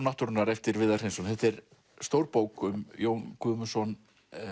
náttúrunnar eftir Viðar Hreinsson þetta er stór bók um Jón Guðmundsson